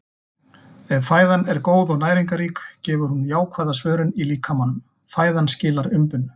Ef fæðan er góð og næringarrík gefur hún jákvæða svörun í líkamanum- fæðan skilar umbun.